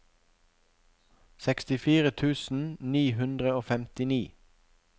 sekstifire tusen ni hundre og femtini